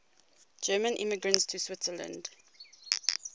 german immigrants to switzerland